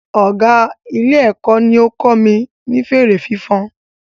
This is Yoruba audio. Ọgá Ilé-èkó ní ó kọ́ mi ní fèrè fífan